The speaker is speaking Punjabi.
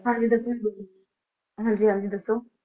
ਹਾਂਜੀ ਦਸਵੇਂ ਗੁਰੂ, ਹਾਂਜੀ ਹਾਂਜੀ ਦੱਸੋ?